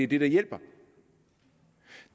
det der hjælper